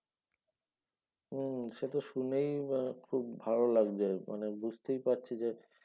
হম সে তো শুনেই আহ খুব ভালো লাগছে মানে বুঝতেই পারছি যে